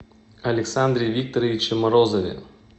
александре викторовиче морозове